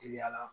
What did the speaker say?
Teliya la